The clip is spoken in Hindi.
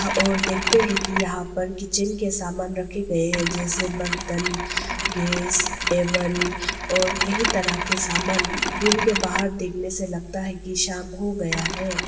और देखते हैं कि यहां पर किचन के सामान रखे गए हैं जैसे बर्तन गैस टेबल और कई तरह के समान रूम के बाहर देखने से लगता है कि शाम हो गया है।